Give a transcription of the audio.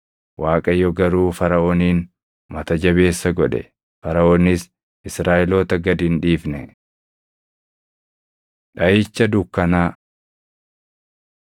Waaqayyo garuu Faraʼoonin mata jabeessa godhe; Faraʼoonis Israaʼeloota gad hin dhiifne. Dhaʼicha Dukkanaa